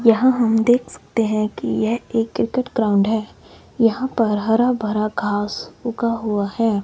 यहां हम देख सकते हैं कि यह एक क्रिकेट ग्राउंड है। यहां पर हरा भरा घास उगा हुआ है।